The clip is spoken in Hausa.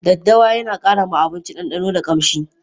Daddawa Yana kara ma abinci dandano da kamshi.